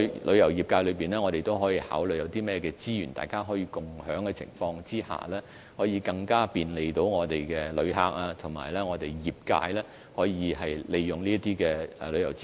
旅遊業界亦可考慮有甚麼資源大家可以共享，亦可更加方便我們的旅客，而業界亦可考慮如何更好利用這些旅遊資源。